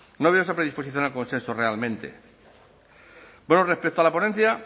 no ha habido esa predisposición al consenso realmente bueno respecto a la ponencia